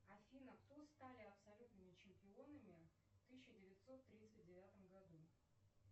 афина кто стали абсолютными чемпионами в тысяча девятьсот тридцать девятом году